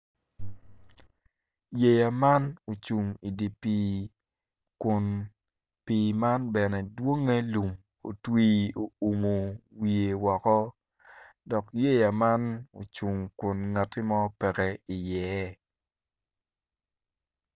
Yeya man ocung i dye pii kun pii man bene dwonge lum otwi oumo wiye woko dok yeya man ocung dok ngat mo pe iye.